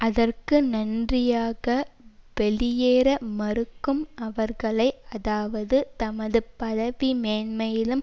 அதற்கு நன்றியாக வெளியேற மறுக்கும் அவர்களை அதாவது தமது பதவிமேன்மையிலும்